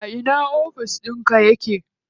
A ina ofis ɗinka yake?